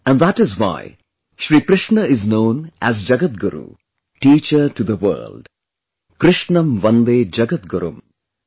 And that is why Shri Krishna is known as Jagatguru teacher to the world... 'Krishnam Vande Jagadgurum'